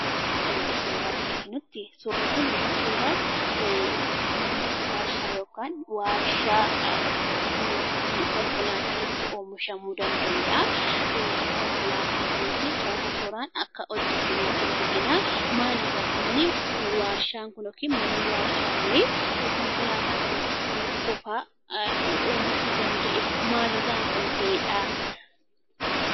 Akkuma gara jalaatti arginutti, suurri kun mana waarshaa yookaan waarshaa konkolaataan itti oomishamuu danda'udha. Konkolaataan kunis toora tooraan akka hojjatamaa jiru argina. Maaliif akka inni waarshaan kun yookiin manni waarshaa kun konkolaataa kana qofaa oomishuu danda'ee? Maalirraa kan ka'eedhaa?